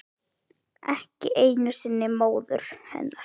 Ekki einu sinni móður hennar.